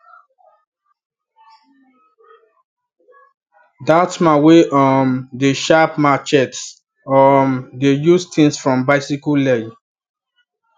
that man wey um dey sharp machetse um dey use things from bicyle leg